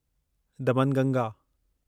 Damanganga